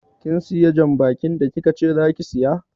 Kin siya jan bakin da kikace zaki siya?